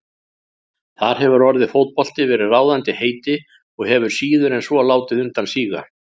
Þar hefur orðið fótbolti verið ráðandi heiti og hefur síður en svo látið undan síga.